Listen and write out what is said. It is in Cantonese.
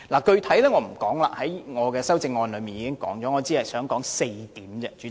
具體情況我在修正案已有闡述，在此不再多說。